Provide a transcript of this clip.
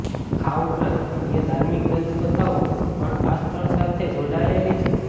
આ ઉપરાંત અન્ય ધાર્મિક દંતકથાઓ પણ આ સ્થળ સાથે જોડાયેલી છે